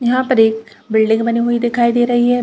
यहाँ पर एक बिल्डिंग बनी हुई दिखाई दे रही है।